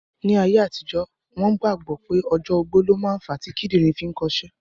Ní ayé àtijọ́, wọ́n gbàgbọ́ pé ọjọ́ ogbó ló ma ń fa tí kídìrín fi ń kọ'ṣẹ́